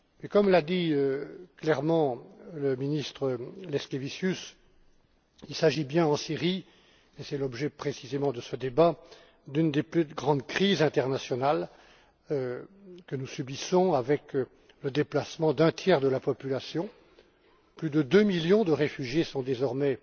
Comme l'a dit clairement le ministre Leškevičius, il s'agit bien, en Syrie et c'est précisément l'objet de ce débat d'une des plus grandes crises internationales que nous subissons, avec le déplacement d'un tiers de la population. Plus de deux millions de réfugiés sont désormais